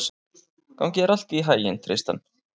Gangi þér allt í haginn, Tristan.